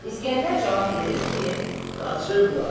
İsgəndər cavab verir ki, qaçıblar.